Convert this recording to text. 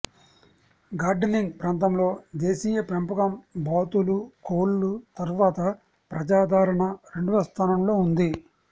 gardening ప్రాంతంలో దేశీయ పెంపకం బాతులు కోళ్లు తర్వాత ప్రజాదరణ రెండవ స్థానంలో ఉంది